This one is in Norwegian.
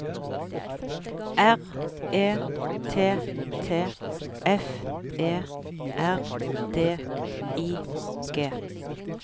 R E T T F E R D I G